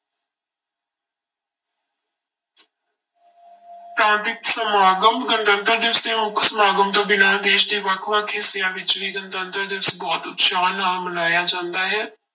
ਪ੍ਰਾਂਤਿਕ ਸਮਾਗਮ, ਗਣਤੰਤਰ ਦਿਵਸ ਦੇ ਮੁੱਖ ਸਮਾਗਮ ਤੋਂ ਬਿਨਾਂ ਦੇਸ ਦੇ ਵੱਖ ਵੱਖ ਹਿੱਸਿਆਂ ਵਿੱਚ ਵੀ ਗਣਤੰਤਰ ਦਿਵਸ ਬਹੁਤ ਉਤਸ਼ਾਹ ਨਾਲ ਮਨਾਇਆ ਜਾਂਦਾ ਹੈ।